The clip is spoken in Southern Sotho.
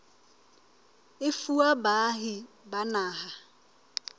e fuwa baahi ba naha